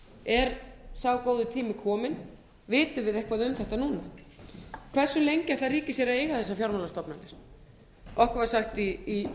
er sá góði tími kominn vitum við eitthvað um þetta núna hversu lengi ætlar ríkið sér að eiga þessar fjármálastofnanir okkar var sagt í